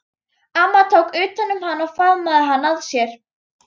Amma tók utan um hann og faðmaði hann að sér.